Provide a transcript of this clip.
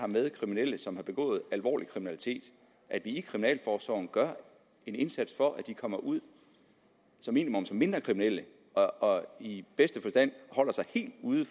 med kriminelle som har begået alvorlig kriminalitet at vi i kriminalforsorgen gør en indsats for at de kommer ud som minimum som mindre kriminelle og og i bedste fald holder sig helt ude